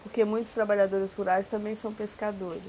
Porque muitos trabalhadores rurais também são pescadores.